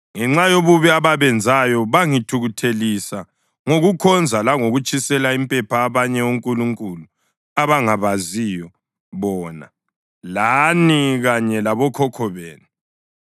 ngenxa yobubi ababenzayo. Bangithukuthelisa ngokukhonza langokutshisela impepha abanye onkulunkulu abangabaziyo bona, lani kanye labokhokho benu.